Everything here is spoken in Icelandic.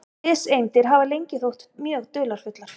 Fiseindir hafa lengi þótt mjög dularfullar.